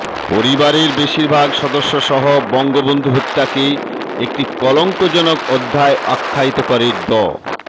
পরিবারের বেশিরভাগ সদস্যসহ বঙ্গবন্ধু হত্যাকে একটা কলঙ্কজনক অধ্যায় আখ্যায়িত করে ড